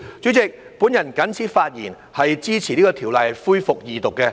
主席，我謹此發言，支持恢復二讀《條例草案》。